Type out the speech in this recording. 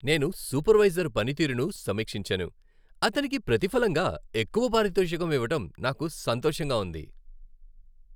నేను సూపర్వైజర్ పనితీరును సమీక్షించాను, అతనికి ప్రతిఫలంగా ఎక్కువ పారితోషకం ఇవ్వడం నాకు సంతోషంగా ఉంది.